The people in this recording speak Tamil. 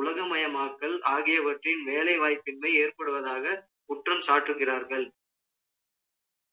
உலகமயமாக்கல் ஆகியவற்றின் வேலைவாய்ப்பின்மை ஏற்படுவதாக, குற்றம் சாட்டுகிறார்கள்.